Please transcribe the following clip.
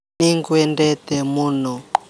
Nĩ ngwendete mũno.